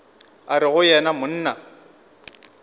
a re go yena monna